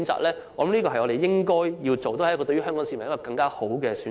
我覺得這是我們應該做的，對香港市民亦是一個更好的選擇。